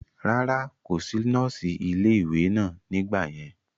rárá, kò sí nọ́ọ̀sì ilé ìwé náà nígbà yẹn